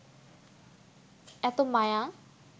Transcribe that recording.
এত মায়া